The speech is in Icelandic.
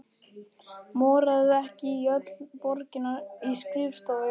Moraði ekki öll borgin í skrifstofum?